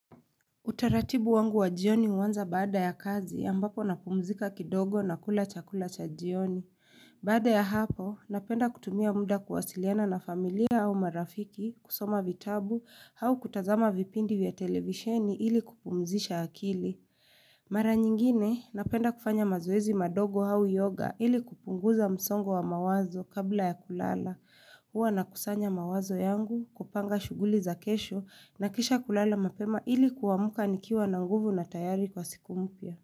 Utaratibu wangu wa jioni wanza bada ya kazi ambapo napumzika kidogo na kula chakula cha jioni. Baada ya hapo, napenda kutumia muda kuwasiliana na familia au marafiki, kusoma vitabu, au kutazama vipindi ya televisheni ili kupumzisha akili. Mara nyingine, napenda kufanya mazoezi madogo hau yoga ili kupunguza msongo wa mawazo kabla ya kulala. Huwa na kusanya mawazo yangu, kupanga shuguli za kesho na kisha kulala mapema ili kuamka nikiwa na nguvu na tayari kwa siku mpya.